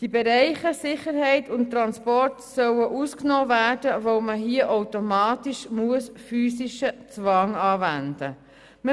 Die Bereiche Sicherheit und Transport sollen ausgenommen werden, weil man hier automatisch physischen Zwang anwenden muss.